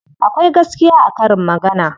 Akwai gaskiya a karin magana.